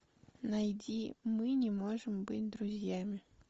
найди мы не можем быть друзьями